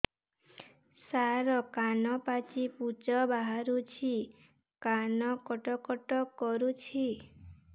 ସାର କାନ ପାଚି ପୂଜ ବାହାରୁଛି କାନ କଟ କଟ କରୁଛି